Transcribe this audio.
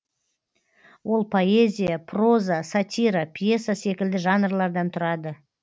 ол поэзия проза сатира пьеса секілді жанрлардан тұрады